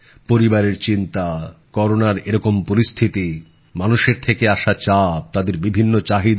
পরিবারের চিন্তা করোনার এরকম পরিস্থিতি মানুষের থেকে আসা চাপ তাদের বিভিন্ন চাহিদা